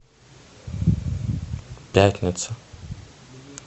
пятница